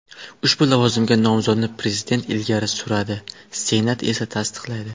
Ushbu lavozimga nomzodni prezident ilgari surati, Senat esa tasdiqlaydi.